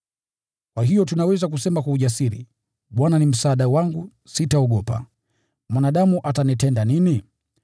Kwa hiyo tunaweza kusema kwa ujasiri, “Bwana ni msaada wangu; sitaogopa. Mwanadamu anaweza kunitenda nini?”